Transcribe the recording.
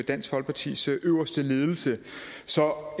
dansk folkepartis øverste ledelse så